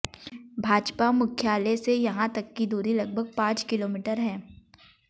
भाजपा मुख्यालय से यहां तक की दूरी लगभग पांच किलोमीटर है